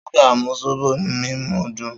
Suga mu zobo mimu dun